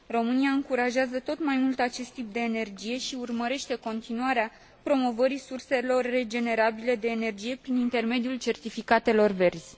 România încurajează tot mai mult acest tip de energie și urmărește continuarea promovării surselor regenerabile de energie prin intermediul certificatelor verzi.